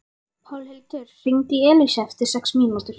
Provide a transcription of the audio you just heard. Pálhildur, hringdu í Elísu eftir sextíu mínútur.